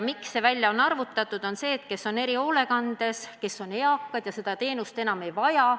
See on välja arvutatud, sest kui erihoolekande all olev inimene saab eakaks, siis ta seda teenust enam ei vaja.